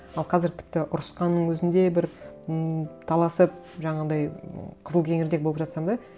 ал қазір тіпті ұрысқанның өзінде бір ммм таласып жаңағындай м кызыл кеңірдек болып жатсам да